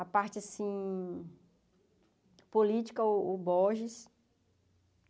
A parte, assim, política, o Borges.